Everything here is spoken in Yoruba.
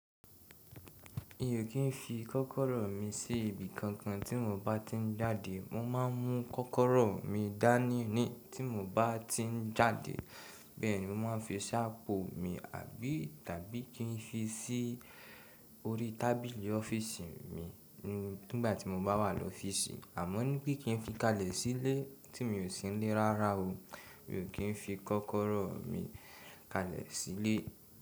Mi ò kí n fi kọ́kọ́rọ́ mi sí ibi kankan tí mo bá ti ń jáde. Mo máa ń mu kọ́kọ́rọ́ mi dání ní tí mo bá ti ń jáde. Bẹ́ẹ̀ ni mo máa ń fi ṣáápù mi, àbí tabi kí n fi sí orí tábìlì ọ́fíìsì mi nígbà tí mo bá wà lọ́fíìsì. Àmọ́ nípè kí n fi kalẹ̀ sílé tí mi ò sí nílé rárá o. Mi ò kí ń fi kọ́kọ́rọ́ mi kalẹ̀ sílé.